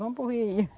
Vamos para o Rio.